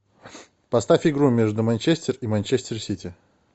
поставь игру между манчестер и манчестер сити